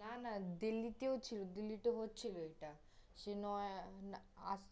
না, না, দিল্লিতেও ছিল দিল্লিতে হচ্ছিল এটা, সে নয় আজ